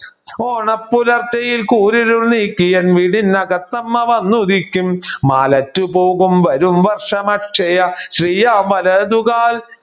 ഓണ പുലർച്ചയിൽ കൂരിരുൾ നീക്കിയെൻ വീടനകത്തമ്മ വന്നുദിക്കും വരും വർഷ അക്ഷയ ശ്രീയാവലതുകാൽ